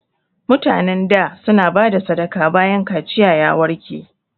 Mutanen da su na bada sadaka bayan kaciya ya warke